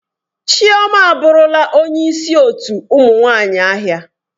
Chioma aburula onye isi otu ụmụ nwanyi ahia.